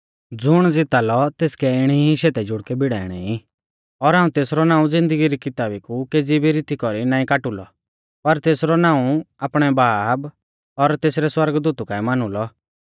ज़ुण ज़िता लौ तेसकै इणी ई शेतै जुड़कै भिड़ाइणै ई और हाऊं तेसरौ नाऊं ज़िन्दगी री किताबी कु केज़ी भी रीती कौरी नाईं काटू लौ पर तेसरौ नाऊं आपणै बाब और तेसरै सौरगदूतु काऐ मानु लौ